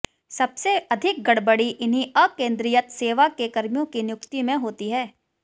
सबसे अधिक गड़बड़ी इन्हीं अकेंद्रीयत सेवा के कर्मियों की नियुक्ति में होती है